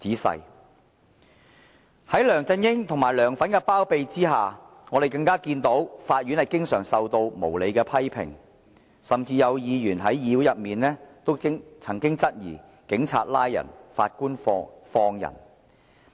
在梁振英及"梁粉"的包庇之下，我們更看到法院經常受到無理的批評，甚至有議員在議會裏也曾質疑"警察拉人，法官放人"。